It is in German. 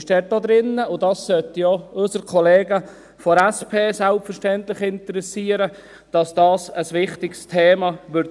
Dass dies ein wichtiges Thema sein wird, sollte selbstverständlich auch unsere Kollegen von der SP interessieren.